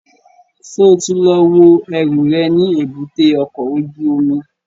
Ṣo ti lọ wo ẹrù rẹ̀ ní èbúté ọkọ̀ ojú omi?